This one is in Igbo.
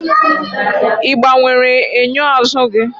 ị gbanwere enyo azụ gị?